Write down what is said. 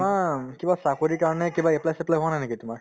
কিবা চাকৰিৰ কাৰণে কিবা apply চেপ্লাই কৰা নাই নেকি তোমাৰ